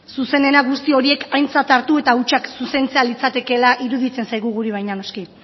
zuzenena guzti horiek aintzat hartu eta hutsak zuzentzea litzatekeela iruditzen zaigu guri baina noski